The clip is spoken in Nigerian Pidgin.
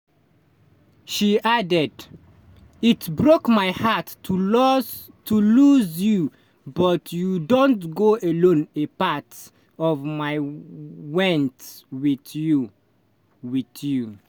she added: "it broke my heart to loss to lose you but you don't go alone a part of my went with you. with you.